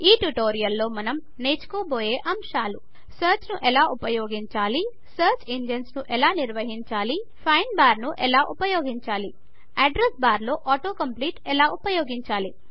ఈ ట్యుటోరియల్ లో మనము నేర్చుకోబోయే ఆంశాలు సర్చ్ ను ఎలా ఉపయోగించాలి సర్చ్ ఇంజన్స్ ఎలా నిర్వహించాలి ఫైండ్ బార్ను ఎలా ఉపయోగించాలి అడ్రెస్ బార్లో ఆటో కంప్లీట్ ఎలా ఉపయోగించాలి